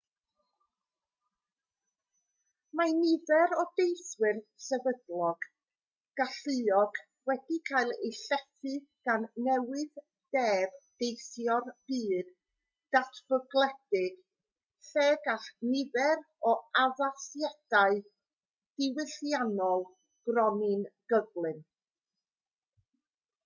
mae nifer o deithwyr sefydlog galluog wedi cael eu llethu gan newydd-deb teithio'r byd datblygedig lle gall nifer o addasiadau diwylliannol gronni'n gyflym